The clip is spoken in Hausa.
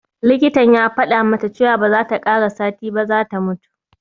Likitan ya faɗa mata cewa ba za ta ƙara sati ba za ta mutu